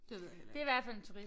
Det ved jeg heller ikke